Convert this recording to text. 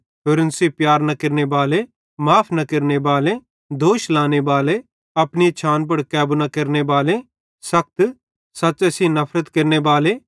होरन सेइं प्यार न केरनेबाले माफ़ न केरनेबाले दोष लाने बाले अपनी इच्छान पुड़ कैबू न केरनेबाले सखत सच़्च़े सेइं नफरत केरनेबाले